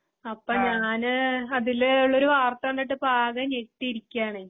അപ്പഞാന് അതില് ഉള്ളൊരു വാർത്തകണ്ടിട്ട്ഇപ്പാകെഞെട്ടിയിരിക്കയാണ്.